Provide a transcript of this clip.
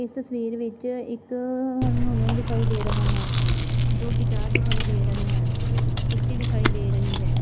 ਇਸ ਤਸਵੀਰ ਵਿੱਚ ਇੱਕ ਹਾਰਮੋਨੀਅਮ ਦਿਖਾਈ ਦੇ ਰਹਾ ਹੈ ਦੋ ਗਿਟਾਰ ਦਿਖਾਈ ਦੇ ਰਹੇ ਹਨ ਕੁਰਸੀ ਦਿਖਾਈ ਦੇ ਰਹੀ ਹੈ